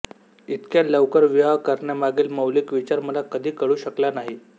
इतक्या लवकर विवाह करण्यामागील मौलिक विचार मला कधी कळू शकला नाही